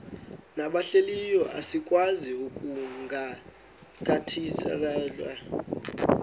nabahlehliyo asikwazi ukungazikhathaieli